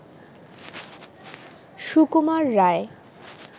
Sukumar Ray